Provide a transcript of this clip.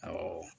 Awɔ